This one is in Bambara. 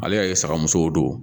Ale y'a ye saga musow don